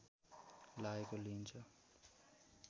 लागेको लिइन्छ